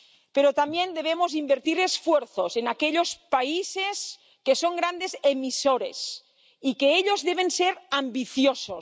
Pero también debemos invertir esfuerzos en aquellos países que son grandes emisores, y ellos deben ser ambiciosos.